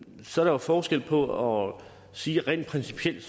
så er forskel på at sige rent principielt